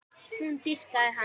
Hún dýrkaði hann.